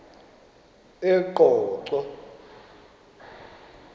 eqonco